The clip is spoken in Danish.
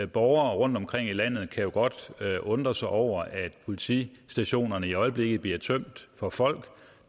borgere rundtomkring i landet kan jo godt undre sig over at politistationerne i øjeblikket bliver tømt for folk